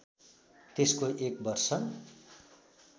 त्यसको एक वर्ष